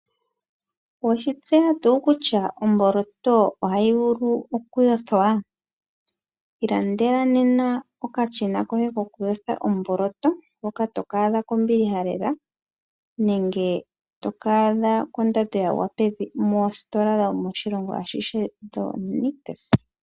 Oweshitseya tuu kutya omboloto ohayi vulu okuyothwa? Ilandela nena okashina koye kokuyotha omboloto hoka tokaadha kombiliha lela nenge tokaadha kondando yagwa pevi moostola dhomoshilongo ashihe dhoNictus.